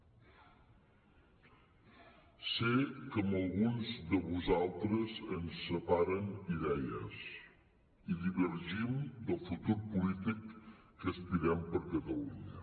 sé que amb alguns de vosaltres em separen idees i divergim del futur polític que aspirem per catalunya